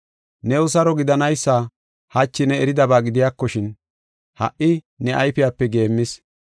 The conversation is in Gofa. “New saro gidanaysa hachi ne eridaba gidiyakoshin, ha77i ne ayfiyape geemmis.